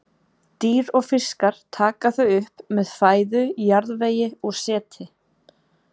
Dýr og fiskar taka þau upp með fæðu, jarðvegi og seti.